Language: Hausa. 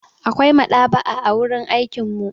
Akwai maɗaba'a a wurin aikin mu.